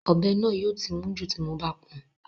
Ọ̀bẹ náà yóò ti mún jù tí mo bá pọn